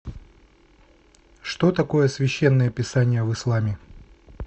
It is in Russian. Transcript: что такое священное писание в исламе